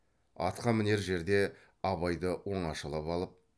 атқа мінер жерде абайды оңашалап алып